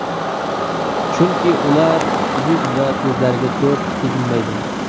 chunki ular yuz va ko‘zlariga ko‘p teginmaydi.